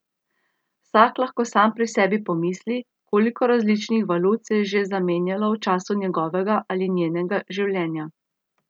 Vsak lahko sam pri sebi pomisli, koliko različnih valut se je že zamenjalo v času njegovega ali njenega življenja.